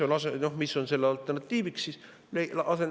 Mis on selle alternatiiviks?